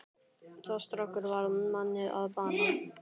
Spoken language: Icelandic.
Sá strákur varð manni að bana.